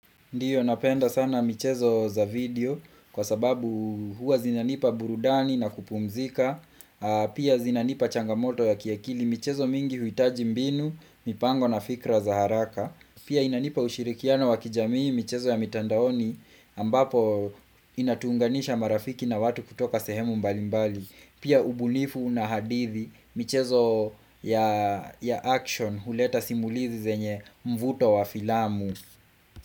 Ndiyo napenda sana michezo za video kwa sababu huwa zinanipa burudani na kupumzika, pia zinanipa changamoto ya kiakili michezo mingi huhitaji mbinu, mipango na fikra za haraka, pia inanipa ushirikiano wa kijamii michezo ya mitandaoni ambapo inatuunganisha marafiki na watu kutoka sehemu mbalimbali, pia ubunifu na hadithi michezo ya action huleta simulizi zenye mvuto wa filamu.